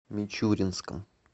мичуринском